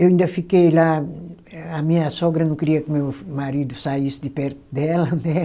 Eu ainda fiquei lá, a minha sogra não queria que meu marido saísse de perto dela, né?